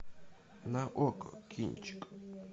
на окко кинчик